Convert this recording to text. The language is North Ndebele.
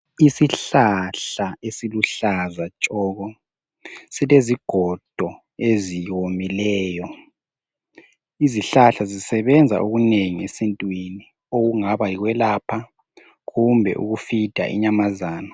Isihlahla esiluhlaza tshoko silezigodo ezomileyo. Izihlahla zisebenza okunengi esintwini okungaba yikwelapha kumbe ukufeeder inyamazana.